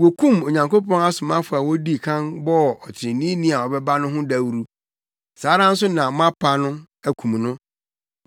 Wokum Onyankopɔn asomafo a wodii kan bɔɔ ɔtreneeni a ɔbɛba no ho dawuru. Saa ara nso na moapa no, akum no.